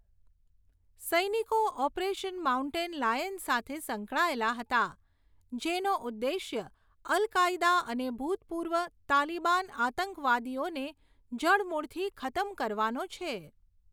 સૈનિકો operation mountain lion સાથે સંકળાયેલા હતા, જેનો ઉદ્દેશ્ય અલ કાયદા અને ભૂતપૂર્વ તાલિબાન આતંકવાદીઓને જડમૂળથી ખતમ કરવાનો છે.